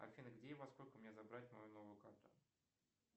афина где и во сколько мне забрать мою новую карту